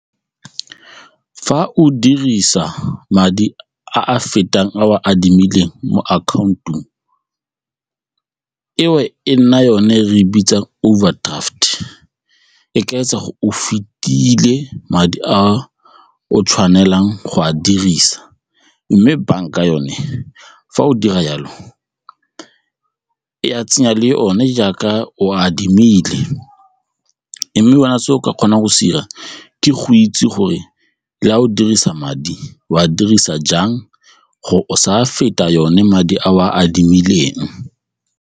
Fa o dirisa madi a a fetang a o a adimileng mo account-ong eo e nna yone re e bitsang overdraft, e ka etsa go o fetile madi a o tshwanelang go a dirisa mme banka yone fa o dira jalo ya tsenya le one jaaka o a adimile mme wena se o ka kgonang go se dira ke go itse gore le a o dirisa madi o a dirisa jang gore o sa feta yone madi a o a adimileng.